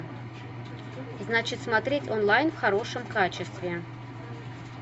значит смотреть онлайн в хорошем качестве